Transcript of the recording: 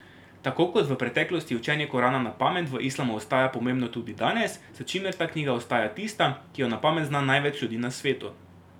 Tako kot v preteklosti učenje Korana na pamet v islamu ostaja pomembno tudi danes, s čimer ta knjiga ostaja tista, ki jo na pamet zna največ ljudi na svetu.